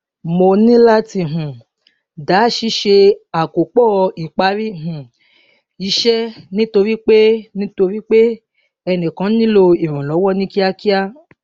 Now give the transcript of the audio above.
mo níláti um dá ṣíṣe àkópọ ìparí um iṣẹ nítorí pé nítorí pé ẹnìkan nílò ìrànlọwọ ní kíákíá